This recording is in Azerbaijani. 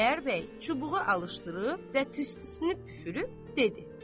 Xudayar bəy çubuğu alışdırıb və tüstüsünü püfürüb dedi.